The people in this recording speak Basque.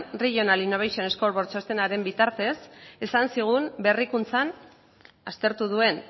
regional innovation scoreboard txostenaren bitartez esan zigun berrikuntzan aztertu duen